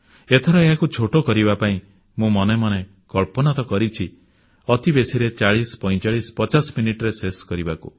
ଏଥର ଏହାକୁ ଛୋଟ କରିବା ପାଇଁ ମୁଁ ମନେ ମନେ କଳ୍ପନା ତ କରିଛି ଅତିବେଶୀରେ 404550 ମିନିଟରେ ଶେଷ କରିବାକୁ